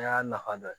A y'a nafa dɔ ye